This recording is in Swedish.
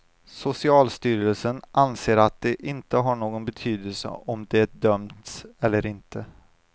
Socialstyrelsen anser att det inte har någon betydelse om de dömts eller inte.